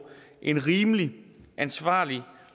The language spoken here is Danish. en rimelig ansvarlig